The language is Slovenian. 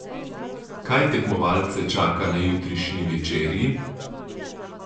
Kaj tekmovalce čaka na jutrišnji večerji?